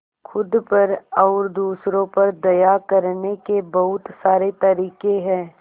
खुद पर और दूसरों पर दया करने के बहुत सारे तरीके हैं